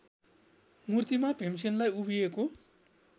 मूर्तिमा भीमसेनलाई उभिएको